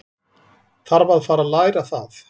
Þarf að fara að læra það.